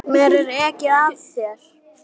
Þú ferð.